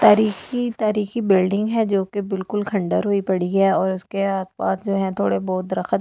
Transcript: तरीखी तरीखी बिल्डिंग है जो कि बिल्‍कुल खंडर हुई पड़ी है और उसके आस-पास जो है थोड़े-बहुत रखत भी लगे हुए हें और--